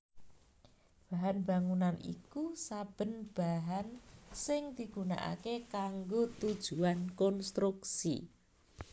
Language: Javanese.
Bahan bangunan iku saben bahan sing digunakaké kanggo tujuan konstruksi